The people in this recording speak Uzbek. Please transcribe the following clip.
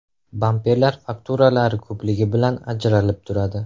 Bamperlar fakturalari ko‘pligi bilan ajralib turadi.